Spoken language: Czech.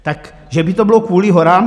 Tak že by to bylo kvůli horám?